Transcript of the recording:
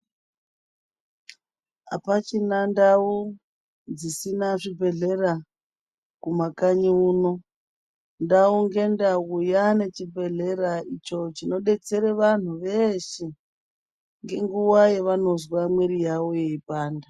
Apachina ndau dzisina chibhedhlera kumakanyi uno. Ndau ngendau yaane chibhedhlera icho chinodetsere vantu veeshe ngenguwa yavanozwa mwiri yavo yeipanda.